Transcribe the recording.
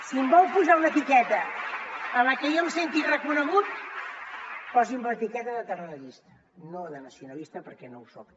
si em vol posar una etiqueta en la que jo em senti reconegut posi’m l’etiqueta de tarradellista no nacionalista perquè no ho soc